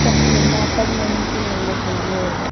tuak phai ma pan yao nu chu ngan ley tailey.